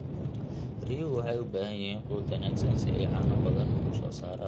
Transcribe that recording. Riyuhu waxay u baahan yihiin quud wanaagsan si ay caano badan u soo saaraan.